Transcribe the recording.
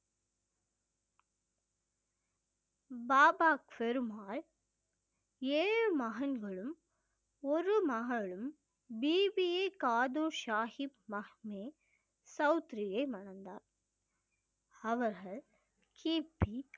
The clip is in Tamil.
பாபா பெருமால் ஏழு மகன்களும் ஒரு மகளும் பிபி காது சாஹிப் மஹமே சவுத்திரியை மணந்தார் அவர்கள் கிபி